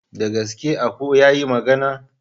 Da gaske aku yayi magana?